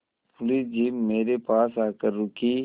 police jeep मेरे पास आकर रुकी